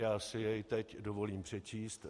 Já si jej teď dovolím přečíst.